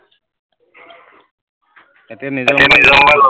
এতিয়া নিজৰ মবাইল ললে